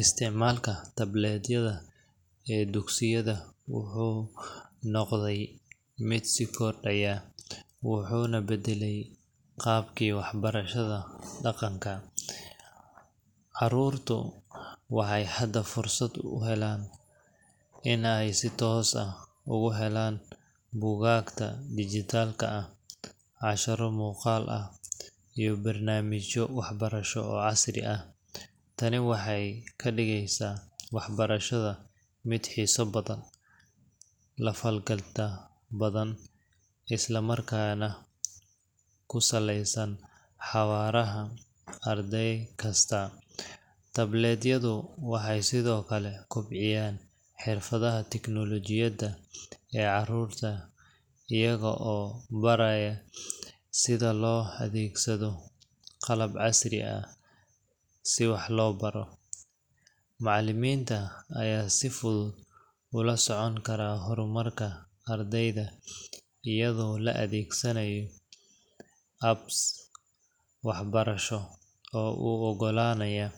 isticmaalka tablet yada ee dugsiyada wuxuu noqday mid sii kordhaya, wuxuuna beddelay qaabkii waxbarashada dhaqanka. Carruurtu waxay hadda fursad u helaan in ay si toos ah ugu helaan buugaagta dhijitaalka ah, casharro muuqaal ah, iyo barnaamijyo waxbarasho oo casri ah. Tani waxay ka dhigaysaa waxbarashada mid xiiso badan, la falgal badan, isla markaana ku saleysan xawaaraha arday kasta. Tablet-yadu waxay sidoo kale kobciyaan xirfadaha tiknoolajiyadda ee carruurta iyaga oo baraya sida loo adeegsado qalab casri ah si wax loo barto. Macallimiinta ayaa si fudud u la socon kara horumarka ardayda, iyagoo adeegsanaya apps waxbarasho oo u oggolaanaya